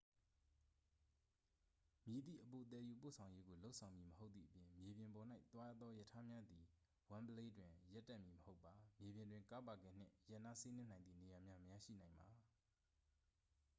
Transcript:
မည်သည့်အပိုသယ်ယူပို့ဆောင်ရေးကို လုပ်ဆောင်မည်မဟုတ်သည့်အပြင် မြေပြင်ပေါ်၌သွားသောရထားများသည် wembley တွင် ရပ်တန့်မည်မဟုတ်ပါ မြေပြင်တွင် ကားပါကင်နှင့် ရပ်နားစီးနင်းနိုင်သည့်နေရာများ မရရှိနိုင်ပါ